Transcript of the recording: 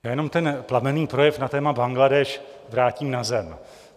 Já jenom ten plamenný projev na téma Bangladéš vrátím na zem.